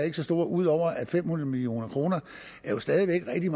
ikke så stor ud over at fem hundrede million kroner stadig væk er